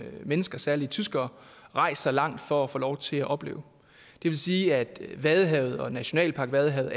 mennesker særligt tyskere rejser langt for at få lov til at opleve det vil sige at vadehavet og nationalpark vadehavet